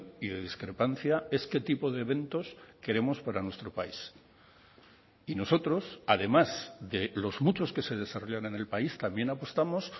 y de discrepancia es qué tipo de eventos queremos para nuestro país y nosotros además de los muchos que se desarrollan en el país también apostamos